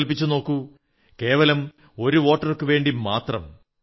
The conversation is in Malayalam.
സങ്കല്പിച്ചു നോക്കൂ കേവലം ഒരു വോട്ടർക്കുവേണ്ടി മാത്രം